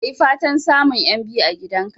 Ka yi fatan samun 'yan biyu a gidan ka